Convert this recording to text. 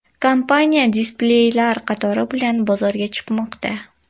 Kompaniya displeylar qatori bilan bozorga chiqmoqda.